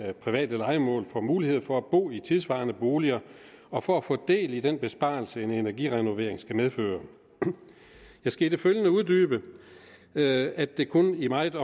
af private lejemål får mulighed for at bo i tidssvarende boliger og for at få del i den besparelse som en energirenovering skal medføre jeg skal i det følgende uddybe at det kun i meget